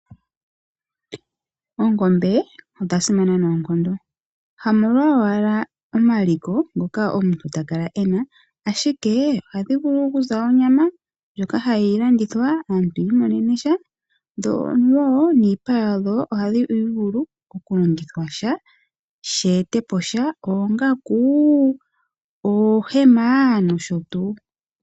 Oongombe odha simana noonkondo ,hamolwa ashike omaliko ngoka omuntu takala ena, ashike ohadhivulu okuza onyama ndjoka hayi landithwa aantu yiimonene sha yo niipa yoongombe ohayi longwa oongaku, noohema nosho tuu.